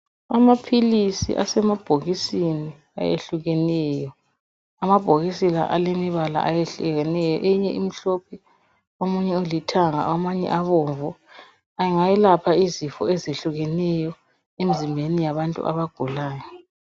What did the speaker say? Amaphilisi asemabhokisini ayehlukeneyo amabhokisi la alemibala ayehlukeneyo eyinye imhlophe omunye alithanga amanye abomvu angayelapha izifo ezehlukeneyo emizimbeni yabantu abagulayo.